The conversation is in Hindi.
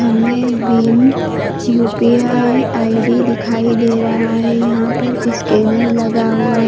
मे भीम यू_पी_आई आई डी दिखाई दे रहा है। यहां पर स्कैनर लगा हुआ।